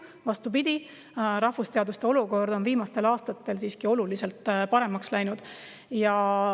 Vastupidi, rahvusteaduste olukord on viimastel aastatel siiski oluliselt paremaks läinud.